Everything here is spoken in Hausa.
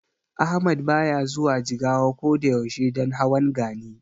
Ahmad baya zuwa Jigawa ko da yaushe don hawan Gani.